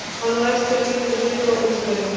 Hann á ekki að líta niður á Ungverja.